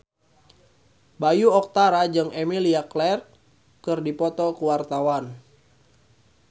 Bayu Octara jeung Emilia Clarke keur dipoto ku wartawan